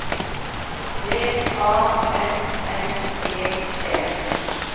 D A N N E T